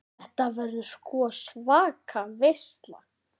Þetta verður sko svaka veisla.